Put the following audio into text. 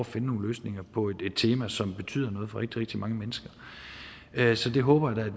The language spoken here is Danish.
finde nogle løsninger på et tema som betyder noget for rigtig rigtig mange mennesker så det håber jeg